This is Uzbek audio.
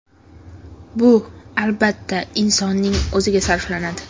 Bu, albatta, insonning o‘ziga sarflanadi.